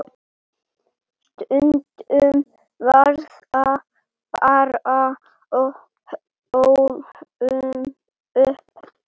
Stundum verða bara óhöpp.